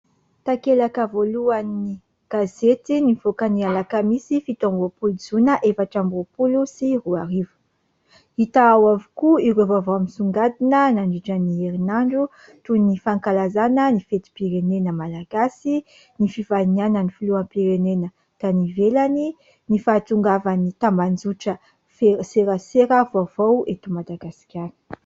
takelaka voalohan'ny gazety nyvoakany alakamisy fito amboapoly jona efatra amboapolo sy ro arivo hita ao avokoa ireo vaovao amisongadina nandritra n'i herinandro toy ny fankalazana ny feti-pirenena malagasy ny fifainiana ny filoham-pirenena tanivelany ny fahatongavan'ny tamanjotra feserasera voaovao eto madagaskany